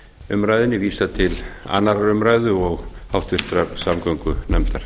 umræðunni vísað til annarrar umræðu og háttvirtrar samgöngunefndar